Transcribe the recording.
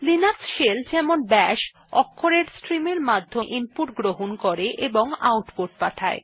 Linux shell যেমন bash অক্ষরের stream এর মাধ্যমে ইনপুট গ্রহণ করে ও আউটপুট পাঠায়